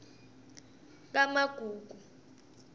kamagugu